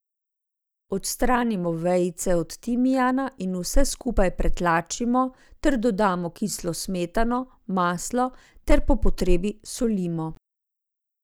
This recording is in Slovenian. Odstranimo vejice od timijana in vse skupaj pretlačimo ter dodamo kislo smetano, maslo ter po potrebi solimo.